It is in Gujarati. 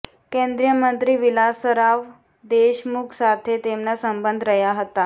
કેન્દ્રીય મંત્રી વિલાસરાવ દેશમુખ સાથે તેમના સંબંધ રહ્યા હતા